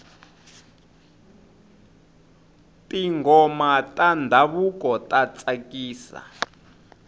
tinghoma ta ndhavuko ta tsakisa